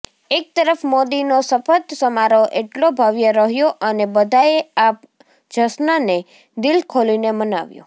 એક તરફ મોદીનો શપથ સમારોહ એટલો ભવ્ય રહ્યો અને બધાએ આ જશ્નને દિલ ખોલીને મનાવ્યો